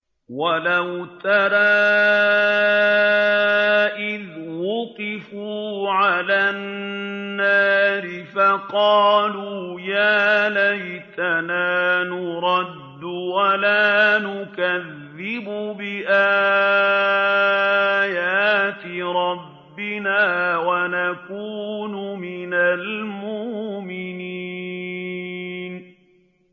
وَلَوْ تَرَىٰ إِذْ وُقِفُوا عَلَى النَّارِ فَقَالُوا يَا لَيْتَنَا نُرَدُّ وَلَا نُكَذِّبَ بِآيَاتِ رَبِّنَا وَنَكُونَ مِنَ الْمُؤْمِنِينَ